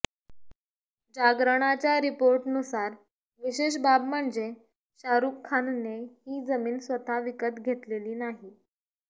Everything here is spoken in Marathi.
जागरणच्या रिपोर्टनुसार विशेष बाब म्हणजे शाहरूख खानने ही जमीन स्वतः विकत घेतलेली नाही